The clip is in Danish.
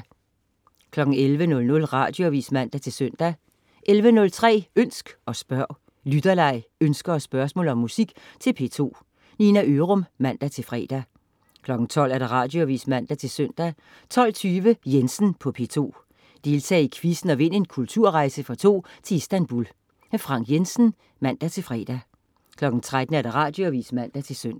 11.00 Radioavis (man-søn) 11.03 Ønsk og spørg. Lytterleg, ønsker og spørgsmål om musik til P2. Nina Ørum (man-fre) 12.00 Radioavis (man-søn) 12.20 Jensen på P2. Deltag i quizzen og vind en kulturrejse for to til Istanbul. Frank Jensen (man-fre) 13.00 Radioavis (man-søn)